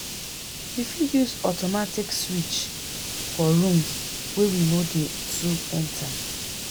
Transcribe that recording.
we fit use automatic switch for rooms wey we no dey too enter